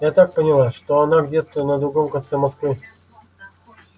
я так поняла что она где-то на другом конце москвы